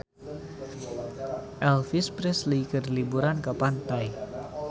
Elvis Presley keur liburan di pantai